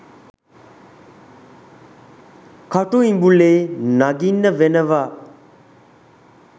කටු ඉඹුලේ නගින්න වෙනවා